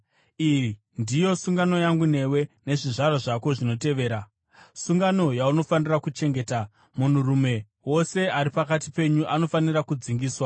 Iyi ndiyo sungano yangu newe nezvizvarwa zvako zvinokutevera, sungano yaunofanira kuchengeta: Munhurume wose ari pakati penyu anofanira kudzingiswa.